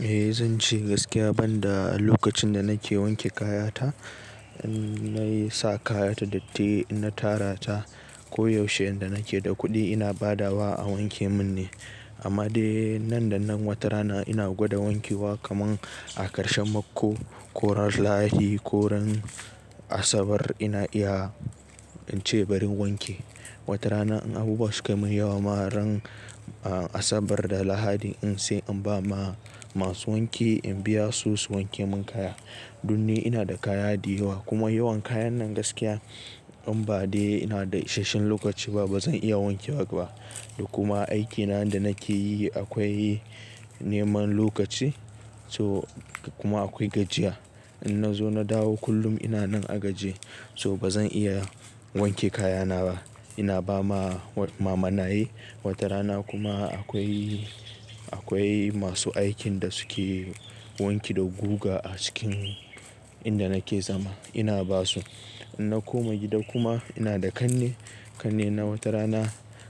Eh, zan ce gaskiya banda lokacin da nake wanke kayata, inna yi sa kayata datti inna tara ta, koyaushe inda nake da kuɗi ina badawa a wanke mun ne. Amma dai nan da nan wata rana, ina gwada wanke wa kaman a ƙarshen mako, ko ran Lahadi, ko ran Asabar, ina iya in ce barin wanke. Wata rana in abubuwa suka min yawa ma, ran Asabar da Lahadi, in sai in ba ma masu wanki in biya su su wanke mun kaya. Dun ni ina da kaya diyawa, kuma yawan kayan nan gaskiya in ba dai ina da isashen lokaci ba bazan iya wanke wa ba. Kuma aikina da nake yi akwai neman lokaci, so kuma akwai gajiya. In nazo na dawo kullum ina nan a gaji so bazan iya wanke kayana ba. Ina ba ma mamanaye, wata rana kuma akwai, akwai masu aikin da suke wanki da guga a cikin inda nake zama ina basu. In na koma gida kuma, ina da kanne, kannena wata rana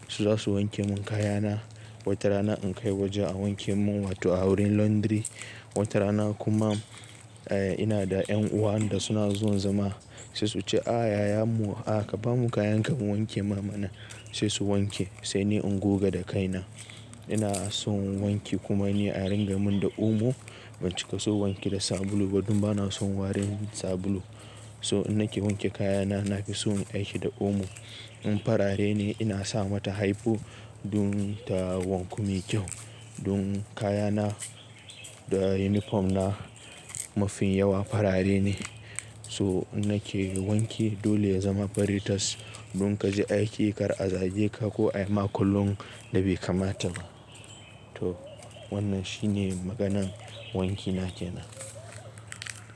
su zasu wanke mun kayana, wata rana in kai waje a wanke mun wato a wurin laundry. Wata rana kuma, eh, ina da ƴan uwan da suna zuwan zama sai su ce a yayan mu, a ka bamu kayan ka mu wanke ma mana, sai su wanke sai ni in guga da kaina. Ina son wanki, kuma ni a ringamin da omo, ban cika son wanki da sabulu ba don bana son warin sabulu. So in nake wanke kayana nafi son in aiki da omo. In farare ne ina sa mata hypo, don ta wanku me kyau. Don kayana da unifom na mafi yawa farare ne, so in nake wanke dole ya zama fari tas. Don kaji aiki kar a zage ka ko ayi ma kallon da bai kamata ba. To wannan shine maganan wankina ke nan.